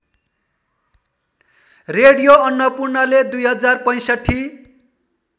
radio अन्नपूर्णले २०६५